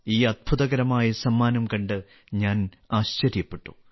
ഈ അത്ഭുതകരമായ സമ്മാനം കണ്ട് ഞാൻ ആശ്ചര്യപ്പെട്ടു